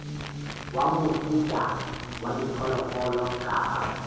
wa mofuta wa diphoofolo kapa